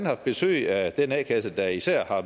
haft besøg af den a kasse der især har